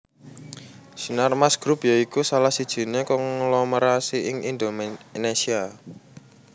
Sinarmas Group ya iku salah sijiné konglomerasi ing Indonésia